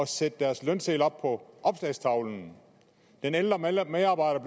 sætte deres lønsedler op på opslagstavlen den ældre medarbejder